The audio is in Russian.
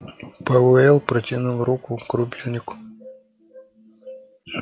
пауэлл протянул руку к рубильнику